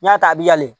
N y'a ta a bi yala